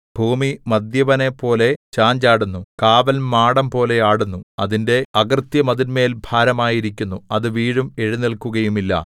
ഭൂമി മദ്യപനെപ്പോലെ ചാഞ്ചാടുന്നു കാവൽമാടംപോലെ ആടുന്നു അതിന്റെ അകൃത്യം അതിന്മേൽ ഭാരമായിരിക്കുന്നു അത് വീഴും എഴുന്നേല്ക്കുകയുമില്ല